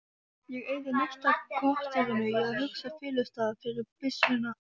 Ég eyði næsta korterinu í að úthugsa felustað fyrir byssuna